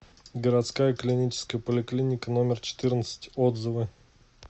городская клиническая поликлиника номер четырнадцать отзывы